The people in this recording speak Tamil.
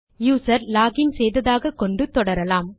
யூசர் லாக் இன் செய்ததாக கொண்டு தொடரலாம்